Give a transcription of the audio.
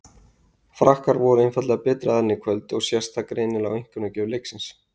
Frakkar voru einfaldlega betri aðilinn í kvöld og sést það greinilega á einkunnagjöf leiksins.